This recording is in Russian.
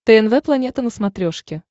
тнв планета на смотрешке